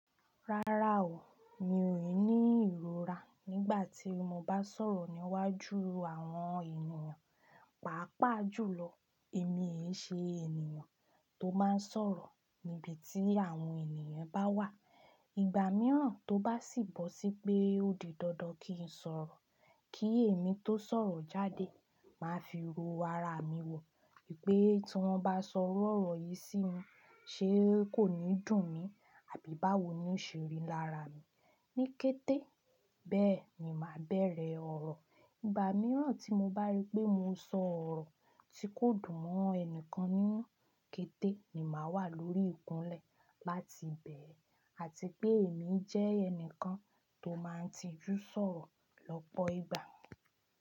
Rárá o, mi ò ní ìrora nígbà tí mo bá sọ̀rọ̀ níwájú àwọn ènìyàn. Pàápàá jùlọ èmi ènì ṣe ènìyàn tó máa ń sọ̀rọ̀ níbi tí àwọn ènìyàn bá wà. Ìgbà mìíràn tó bá sì bọ́ sí pé ó di dandan kí n sọ̀rọ̀, kí èmi tó sọ̀rọ̀ jáde, màá fi ro ara mi wò wípé tí wọ́n bá sọ iru ọ̀rọ̀ yìí sí mi ṣe kò ní dùn mí àbí báwo ni ó ṣe rí lára mi. Ní kété, bẹ́ẹ̀ ni màá bẹ̀rẹ̀ ọ̀rọ̀. Ìgbà mìíràn tí mo bá rí pé mo sọ ọ̀rọ̀ tí kò dùn mọ́ ẹnìkan nínú, kété ni màá wà lórí ìkúnlẹ̀ láti bẹ̀ ẹ́ àti pé èmi jẹ́ ẹnìkan tó máa ń tijú sọ̀rọ̀ lọ́pọ̀ ìgbà.